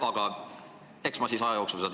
Aga eks ma aja jooksul selle hinnagu kujundan.